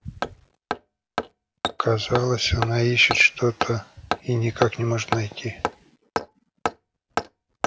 казалось она ищет что-то и никак не может найти